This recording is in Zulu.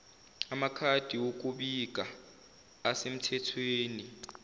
amakhadi okubika asemthethweni